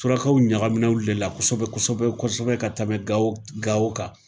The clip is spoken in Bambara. Surakaw ɲagaminaw olu de la kosɛbɛ kosɛbɛ ka tɛmɛ gawo gawo kan